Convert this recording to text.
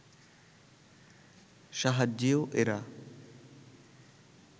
সাহায্যেও এরা